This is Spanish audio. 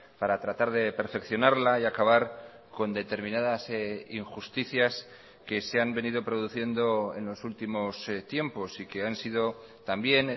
para tratar de perfeccionarla y acabar con determinadas injusticias que se han venido produciendo en los últimos tiempos y que han sido también